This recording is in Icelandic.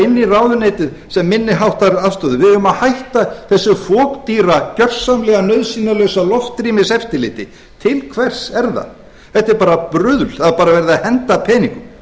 inn í ráðuneytið sem minniháttarafstöðu við eigum að hætta þessu fokdýra gersamlega nauðsynjalausa loftrýmiseftirliti til hvers er það þetta er bara bruðl það er bara verið að henda peningum